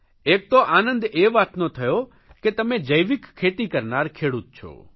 એક તો આનંદ એ વાતનો થયો કે તમે જૈવિક ખેતી કરનાર ખેડૂત છો